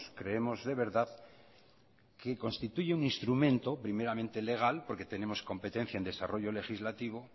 creemos de verdad que constituye un instrumento primeramente legal porque tenemos competencia en desarrollo legislativo